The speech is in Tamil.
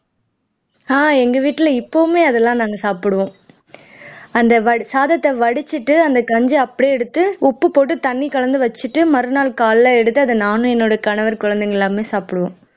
அஹ் எங்க வீட்ல இப்பவுமே அதெல்லாம் நாங்க சாப்பிடுவோம் அந்த சாதத்தை வடிச்சுட்டு அந்த கஞ்சியை அப்படியே எடுத்து உப்பு போட்டு தண்ணி கலந்து வச்சுட்டு மறுநாள் காலைல எடுத்து நானும் என்னோட கணவர் குழந்தைகள் எல்லாருமே சாப்பிடுவோம்